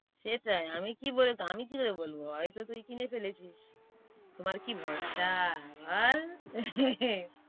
সেটাই আমি কি বলে~আমি কি করে বলব, হয়ত তুই কিনে ফেলেছিস। তোমার কি ভরসা বল।